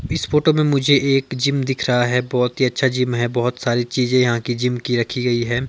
इस फोटो में मुझे एक जिम दिख रहा है बहुत ही अच्छा जिम है बहुत सारी चीजें यहां की जिम की रखी गई हैं।